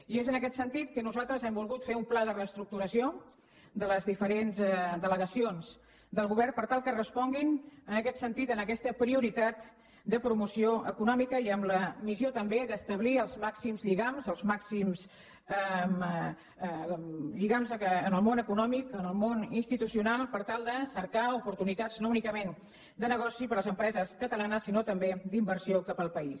i és en aquest sentit que nosaltres hem volgut fer un pla de reestructuració de les diferents delegacions del govern per tal que responguin en aquest sentit en aquesta prioritat de promoció econòmica i amb la missió també d’establir els màxims lligams els màxims lligams amb el món econòmic amb el món institucional per tal de cercar oportunitats no únicament de negoci per a les empreses catalanes sinó també d’inversió cap al país